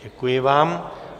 Děkuji vám.